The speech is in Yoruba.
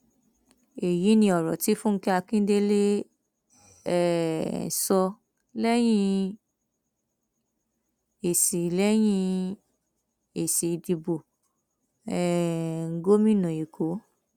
èyí ni ọrọ tí fúnge akindélé um sọ lẹyìn èsì lẹyìn èsì ìdìbò um gómìnà èkó